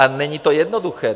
A není to jednoduché.